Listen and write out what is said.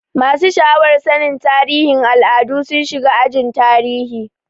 Masu sha'awar sanin tarihin al'adu sun shiga ajin tarihi.